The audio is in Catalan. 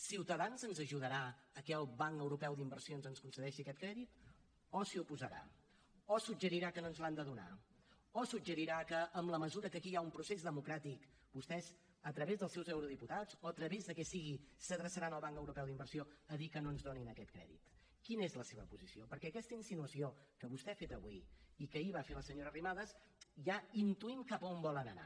ciutadans ens ajudarà que el banc europeu d’inversions ens concedeixi aquest crèdit o s’hi oposarà o suggerirà que no ens l’han de donar o suggerirà que en la mesura que aquí hi ha un procés democràtic vostès a través dels seus eurodiputats o a través del que sigui s’adreçaran al banc europeu d’inversions a dir que no ens donin aquest crèdit quina és la seva posició perquè amb aquesta insinuació que vostè ha fet avui i que ahir va fer la senyora arrimadas ja intuïm cap a on volen anar